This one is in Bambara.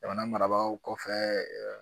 Jamana marabagaw kɔfɛ